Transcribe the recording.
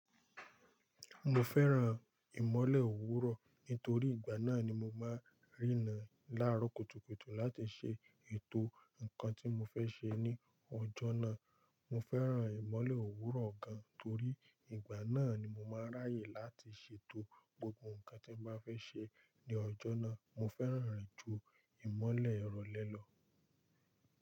Mo fẹ́ran ìmọ́lẹ̀ òwúrọ̀ nítorí ìgbà náà ni mo máa rína láàárọ̀ kùtùkùtù láti ṣe ètò nǹkan tí mo fẹ́ ṣe ní ọjọ́ náà. Mo fẹ́ran ìmọ́lẹ̀ òwúrọ̀ gan torí ìgbà náà ni mo máa ráyè láti ṣètò gbogbo nǹkan tí m bá fẹ́ ṣe ní ọjọ́ náà. Mo fẹ́ràn rẹ̀ ju ìmọ́lẹ̀ ìrọ̀lẹ́ lọ.